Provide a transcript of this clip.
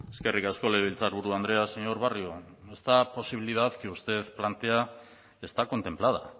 eskerrik asko legebiltzarburu andrea señor barrio esta posibilidad que usted plantea está contemplada